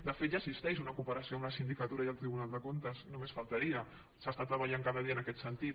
de fet ja existeix una cooperació entre la sindicatura i el tribunal de comptes només faltaria s’està treballant cada dia en aquest sentit